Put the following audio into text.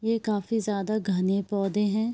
ये काफ़ी ज्यादा घने पौधे हैं।